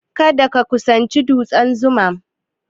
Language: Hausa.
Kada ka kusanci dutsen 'Zuma'!